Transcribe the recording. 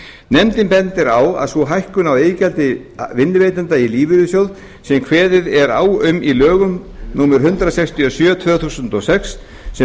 nefndin bendir á að sú hækkun á iðgjaldi vinnuveitenda í lífeyrissjóð sem kveðið er á um í lögum númer hundrað sextíu og sjö tvö þúsund og sex sem